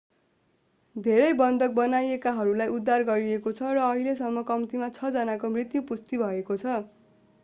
धेरै बन्धक बनाइएकाहरूलाई उद्धार गरिएको छ र अहिलेसम्म कम्तिमा छ जनाको मृत्यु पुष्टि भएको छ